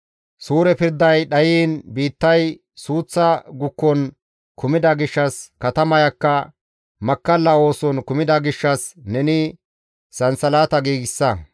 « ‹Suure pirday dhayiin biittay suuththa gukon kumida gishshas, katamayakka makkalla ooson kumida gishshas neni sansalata giigsa.